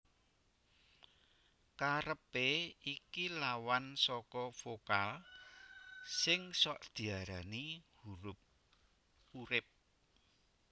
Karepé iki lawan saka vokal sing sok diarani huruf urip